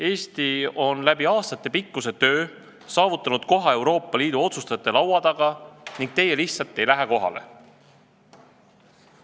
Eesti on aastatepikkuse tööga saavutanud koha Euroopa Liidu otsustajate laua taga, aga teie lihtsalt ei lähe kohale!